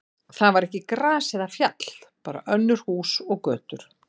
Þar var ekki gras eða fjall, bara önnur hús og götur.